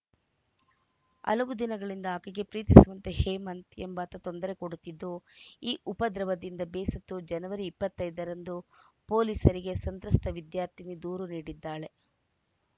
ಹಲವು ದಿನಗಳಿಂದ ಆಕೆಗೆ ಪ್ರೀತಿಸುವಂತೆ ಹೇಮಂತ್‌ ಎಂಬಾತ ತೊಂದರೆ ಕೊಡುತ್ತಿದ್ದು ಈ ಉಪದ್ರವದಿಂದ ಬೇಸತ್ತು ಜನವರಿ ಇಪ್ಪತ್ತ್ ಐದರಂದು ಪೊಲೀಸರಿಗೆ ಸಂತ್ರಸ್ತ ವಿದ್ಯಾರ್ಥಿನಿ ದೂರು ನೀಡಿದ್ದಾಳೆ